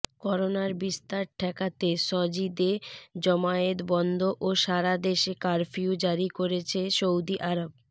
করোনার বিস্তার ঠেকাতে সজিদে জমায়েত বন্ধ ও সারাদেশে কারফিউ জারি করেছে সৌদি আরব